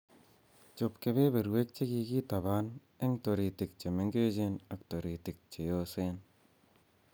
Choob kebeberwek chekikitaban en tiritik che mengechen ak toritik che yoosen.